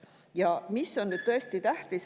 Ja mis on nüüd tõesti tähtis …